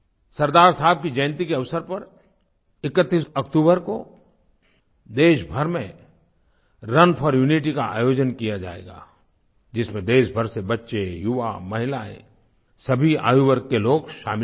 सरदार साहब की जयंती के अवसर पर 31 अक्तूबर को देशभर में रुन फोर यूनिटी का आयोजन किया जाएगा जिसमें देशभर से बच्चे युवा महिलाएँ सभी आयुवर्ग के लोग शामिल होंगे